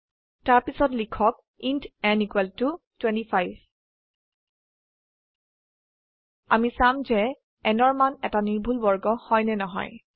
তাৰপিছত লিখক int n 25 আমি চাম যে n ৰ মান এটা নিৰ্ভুল বৰ্গ হয় নে নহয়